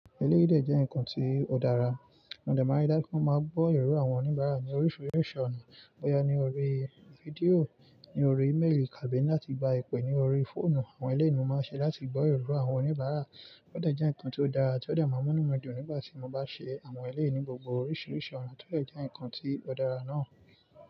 Ẹlẹ́yìdè jẹ́ nǹkan tí ó dára, mo de mari dájú pé wọ́n máa gbọ́ èrò àwọn oníbàárà ní oríṣiríṣi ọ̀nà. Bóyá ní orí fídíò, ní orí ímélì, tabi láti gba ìpè ní orí fóònù, àwọn eléyi ni mo máa ṣe láti gbọ́ èrò àwọn oníbàárà. Ó de je nǹkan tí ó dára tí ó de ma inumi dùn nígbà tí mo bá ṣe àwọn eléyi ni gbogbo oríṣiríṣi ọ̀nà tí ó de jẹ́ nǹkan tí ó dára náà.